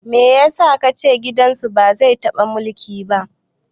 Me yasa kace gidan su ba zai taɓa mulki ba?